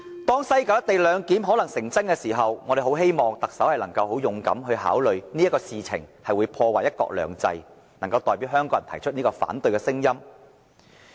當西九"一地兩檢"可能成真的時候，我們很希望特首考慮到這事情會破壞"一國兩制"，能夠很勇敢地代表香港人提出反對聲音。